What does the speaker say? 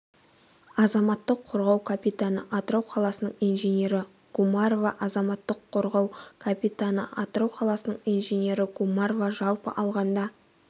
азаматтық қорғау капитаны атырау қаласының инженері гумарова азаматтық қорғау капитан атырау қаласының инженері гумарова жалпы алғанда